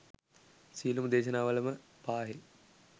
සියලුම දේශනාවලම පාහේ